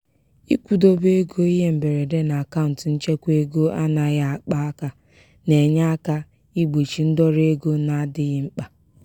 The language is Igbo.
ịkwụdobe ego ihe mberede n'akaụnt nchekwaego anaghị akpa aka na-enye aka igbochi ndọrọ ego na-adịghị mkpa.